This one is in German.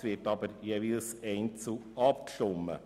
Es wird aber jeweils einzeln abgestimmt.